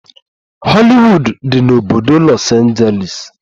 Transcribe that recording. Hollywood dị n'obodo Los Angeles.